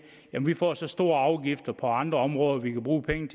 vi får så store afgifter på andre områder at vi kan bruge penge